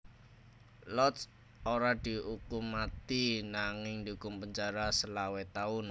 Lotz ora diukum mati nanging diukum penjara selawe taun